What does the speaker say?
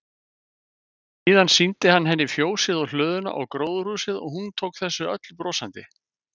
Síðan sýndi hann henni fjósið og hlöðuna og gróðurhúsið og hún tók þessu öllu brosandi.